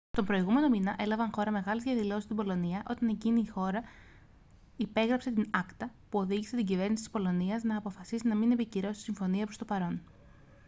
τον προηγούμενο μήνα έλαβαν χώρα μεγάλες διαδηλώσεις στην πολωνία όταν εκείνη η χώρα υπέγραψε την acta που οδήγησε την κυβέρνηση της πολωνίας να αποφασίσει τη μη επικύρωση της συμφωνίας προς το παρόν